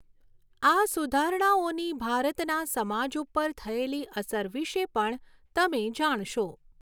આ સુધારણાઓની ભારતના સમાજ ઉપર થયેલી અસર વિશે પણ તમે જાણશો.